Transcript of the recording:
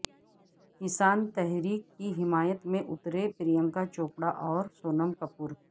کسان تحریک کی حمایت میں اتریں پرینکا چوپڑا اور سونم کپور